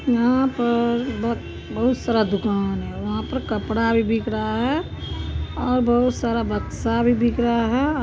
यहाँ पर बहुत बहुत सारा दुकान है वहाँ पे कपड़ा भी बिक रहा है और बहुत सारा बक्सा भी बिक रहा है अ --